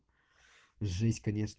жесть конечно